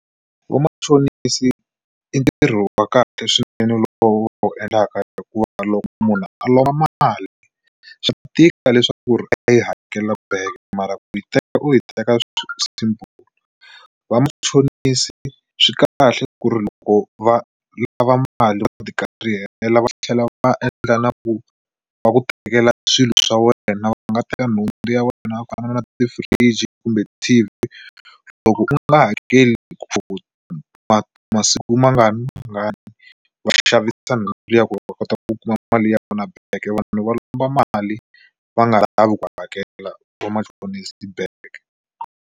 Ku va machonisi i ntirho wa kahle swinene lowu u wu endlaka hikuva loko munhu a lomba mali swa tika leswaku ri a yi hakela back mara ku yi teka u yi teka simple, vamachonisi swi kahle ku ri loko va lava mali va karihela va tlhela va endla na ku va ku tekela swilo swa wena, va nga teka nhundzu ya wena ku fana na ti-fridge kumbe T_V loko u nga hakeli ku masiku mangani mangani va xavisa ya vona va kota ku kuma mali ya vona back vanhu va lomba mali va nga lavi ku hakela vamachonisi back.